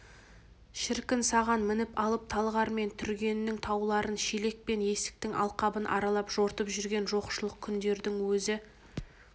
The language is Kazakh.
шіркін саған мініп алып талғар мен түргеннің тауларын шелек пен есіктің алқабын аралап жортып жүрген жоқшылық күндердің өзі